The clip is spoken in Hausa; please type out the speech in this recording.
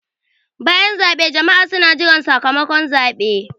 Bayan zaɓe jama'a suna jiran sakamakon zaɓe.